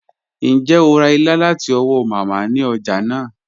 Ǹjẹ́ o rá ìlà láti ọ̀wọ̀ Mámá ni ọ̀já naa?